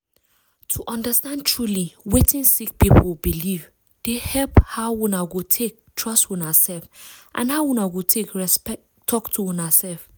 to understand truely wetin sick people belief dey help how una go take trust una self and how una go take talk to una self.